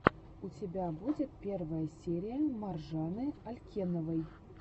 у тебя будет первая серия маржаны алькеновой